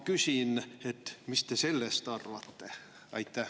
Mis te sellest arvate?